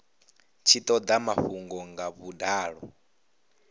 tshi toda mafhungo nga vhudalo